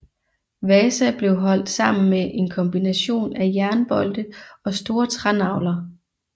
Vasa blev holdt sammen med en kombination af jernbolte og store trænagler